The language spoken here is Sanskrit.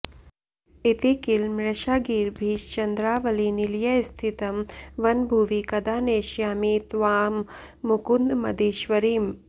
इति किल मृषागीर्भिश्चन्द्रावलीनिलयस्थितं वनभुवि कदा नेष्यामि त्वां मुकुन्द मदीश्वरीम्